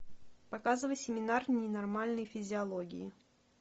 показывай семинар ненормальной физиологии